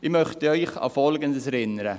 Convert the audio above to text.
Ich möchte Sie an Folgendes erinnern: